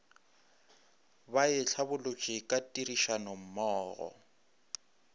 ba e hlabolotše ka tirišanommogo